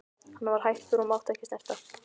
Hann var hættur og mátti ekki snerta.